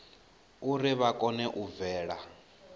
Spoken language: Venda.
uri vha kone u bvela